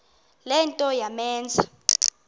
le nto yamenza